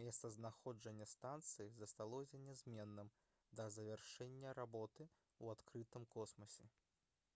месцазнаходжанне станцыі засталося нязменным да завяршэння работы ў адкрытым космасе